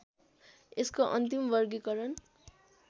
यसको अन्तिम वर्गीकरण